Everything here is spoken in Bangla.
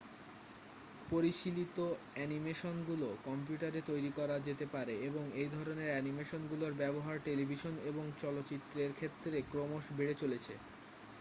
পরিশীলিত অ্যানিমেশনগুলো কম্পিউটারে তৈরি করা যেতে পারে এবং এইধরণের অ্যানিমেশনগুলোর ব্যবহার টেলিভিশন এবং চলচ্চিত্রের ক্ষেত্রে ক্রমশবেড়ে চলেছে